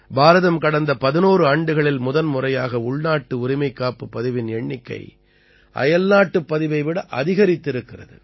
பாரதம் கடந்த 11 ஆண்டுகளில் முதன்முறையாக உள்நாட்டு உரிமைக்காப்புப் பதிவின் எண்ணிக்கை அயல்நாட்டுப் பதிவை விட அதிகரித்திருக்கிறது